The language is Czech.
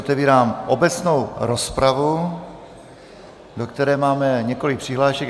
Otevírám obecnou rozpravu, do které máme několik přihlášek.